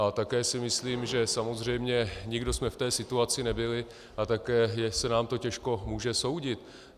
A také si myslím, že samozřejmě nikdo jsme v té situaci nebyli, a také se nám to těžko může soudit.